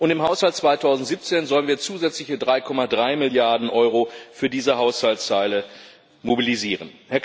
Und im Haushalt 2017 sollen wir zusätzliche 3,3 Milliarden Euro für diese Haushaltslinien mobilisieren.